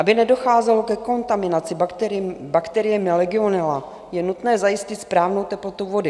Aby nedocházelo ke kontaminaci bakteriemi legionella, je nutné zajistit správnou teplotu vody.